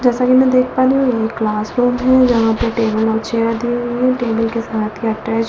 जैसा कि मैं देख पा रही हूं ये एक क्लासरूम है जहां पे टेबल और चेयर दिए हुई है टेबल के साथ ही अटैच --